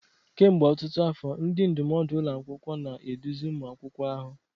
Kemgbe ọtụtụ afọ, ndị ndụmọdụ ụlọ akwụkwọ na-eduzi ụmụ akwụkwọ ahụ.